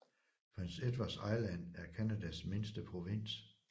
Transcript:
Prince Edward Island er Canadas mindste provins